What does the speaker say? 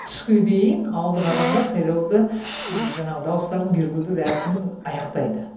түске дейін ауылдық адамдар сайлауда жаңағы дауыстарын беруді рәсімін аяқтайды